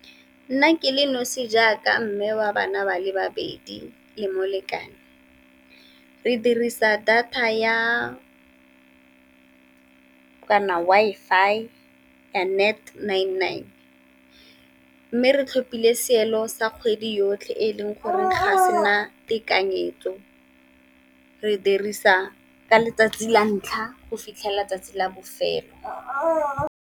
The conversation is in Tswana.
Nna ke le nosi jaaka mme wa bana ba le babedi le molekane re dirisa data ya kana Wi-Fi ya nine nine. Mme re tlhopile seelo sa kgwedi yotlhe e leng gore ga sena tekanyetso, re dirisa ka letsatsi la ntlha go fitlhelela letsatsi la bofelo.